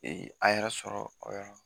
a yɛrɛ sɔrɔ o yɔrɔ la